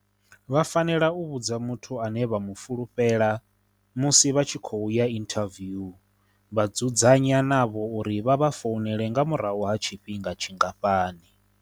Vha fanela u vhudza muthu ane vha mu fulufhela musi vha tshi khou ya inthaviu vha dzudzanya navho uri vha vha founele nga murahu ha tshifhinga tshingafhani.